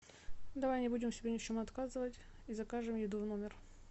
давай не будем себе ни в чем отказывать и закажем еду в номер